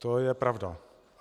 To je pravda.